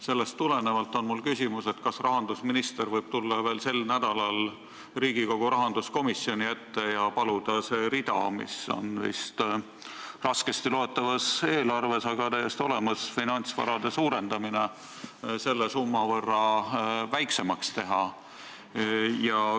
Sellest tulenevalt on mul küsimus: kas rahandusminister võib tulla veel sel nädalal Riigikogu rahanduskomisjoni ette, et saaks paluda see rida, mis on raskesti loetavas eelarves täiesti olemas – finantsvarade suurendamine –, selle summa võrra väiksemaks teha?